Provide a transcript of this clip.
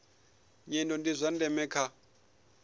nyendo ndi zwa ndeme kha